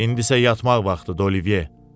İndisə yatmaq vaxtıdı, Olivye.